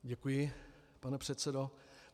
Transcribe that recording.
Děkuji, pane předsedo.